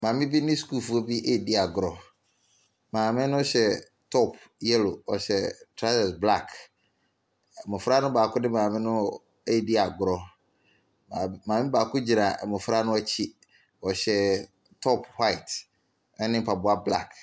Maame bi ne sukuufo bi redi agorɔ. Maame no hyɛ top yellow. Ɔhyɛ trawsɛs black. Mmofra no baako maame no redi agorɔ. Maame baako gyina mmofra no akyi. Ɔhyɛ top white ne mpaboa black.